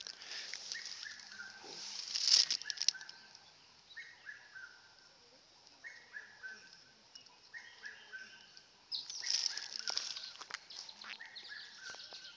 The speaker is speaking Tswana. ba e ka nnang baagi